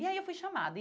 E aí eu fui chamada.